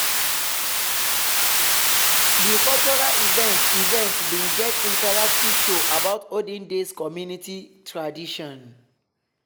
di cultural event event bin get interactive show about olden days community tradition.